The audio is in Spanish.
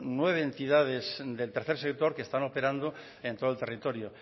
nueve entidades del tercer sector que están operando en todo el territorio